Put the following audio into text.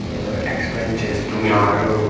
ఏదో ఎక్స్‌ప్లైన్ చేస్తున్నారు .]